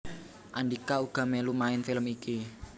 Andhika uga mèlu main film iki